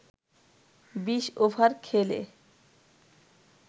২০ over খেলে